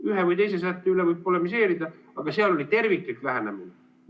Ühe või teise sätte üle võib polemiseerida, aga seal oli terviklik lähenemine.